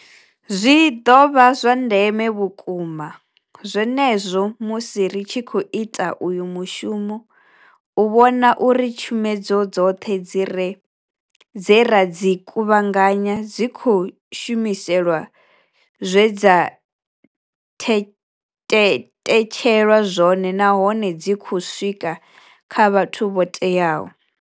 Zwi ḓo vha zwa ndeme vhukuma zwenezwo musi ri tshi khou ita uyu mushumo u vhona uri tshomedzo dzoṱhe dze ra dzi kuvhunganya dzi khou shumiselwa zwe dza tetshelwa zwone nahone dzi khou swika kha vhathu vho teaho.